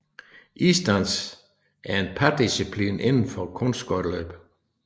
Isdans er en pardisciplin inden for kunstskøjteløb